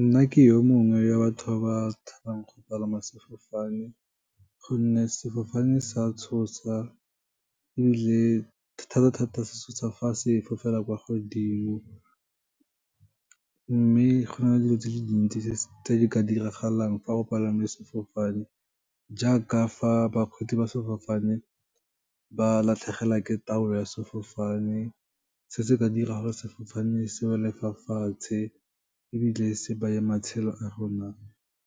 Nna ke yo mongwe wa batho ba ba tshabang go palama sefofane, gonne sefofane sa tshosa ebile thata-thata se tshosa fa se fofela kwa godimo. Mme go na le dilo tse di le dintsi tse di ka diragalang fa o palame sefofane, jaaka fa bakgweetsi ba sefofane ba latlhegelwa ke taolo ya sefofane, se se ka dira gore sefofane se wele fa fatshe, ebile se beye matshelo a rona